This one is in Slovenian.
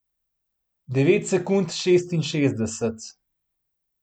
Devet sekund šestinšestdeset.